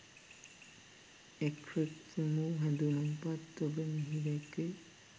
එක්‌රොක්‌ වූ හැඳුම්පත් තොග මෙහි දැක්‌වේ.